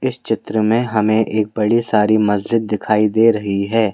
इस चित्र में हमें एक बड़ी सारी मस्जिद दिखाई दे रही है।